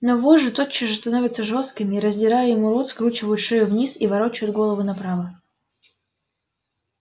но вожжи тотчас же становятся жёсткими и раздирая ему рот скручивают шею вниз и ворочают голову направо